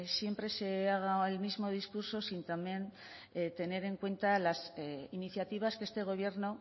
siempre se haga el mismo discurso sin también tener en cuenta las iniciativas que este gobierno